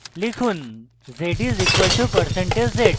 লিখুন z is equal to percentage z